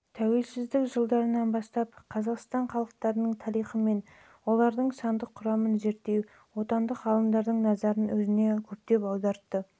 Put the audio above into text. тәуелсіздік жылдарынан бастап қазақстан халықтарының тарихы мен олардың сандық құрамын зерттеу отандық ғалымдардың назарын өзіне көптеп аударды